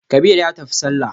Kabir ya tafi sallah.